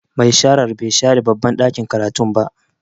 Mai shara bai share babban ɗakin karatun ba.